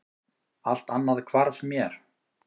Allt annað hvarf mér.